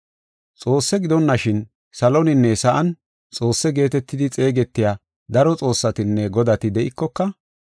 Xoosse gidonashin, saloninne sa7an xoosse geetetidi xeegetiya daro xoossatinne godati de7ikoka,